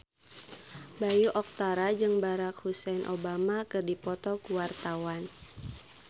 Bayu Octara jeung Barack Hussein Obama keur dipoto ku wartawan